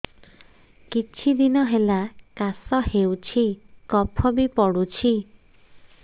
କିଛି ଦିନହେଲା କାଶ ହେଉଛି କଫ ବି ପଡୁଛି